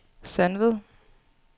Sandved